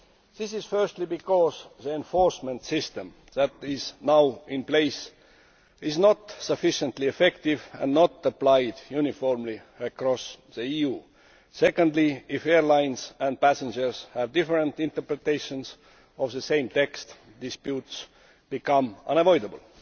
This is firstly because the enforcement system which is now in place is not sufficiently effective and is not applied uniformly across the EU. Secondly, if airlines and passengers have different interpretations of the same text, disputes become unavoidable.